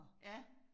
Ja